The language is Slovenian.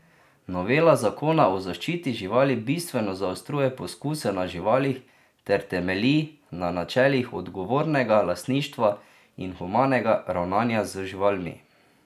Novela zakona o zaščiti živali bistveno zaostruje poskuse na živalih ter temelji na načelih odgovornega lastništva in humanega ravnanja z živalmi.